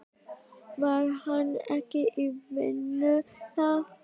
Var hann ekki í vinnu þar?